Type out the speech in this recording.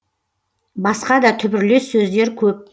басқа да түбірлес сөздер көп